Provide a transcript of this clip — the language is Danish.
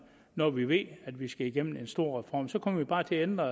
når vi ved at vi skal igennem en stor reform så kommer vi bare til at ændre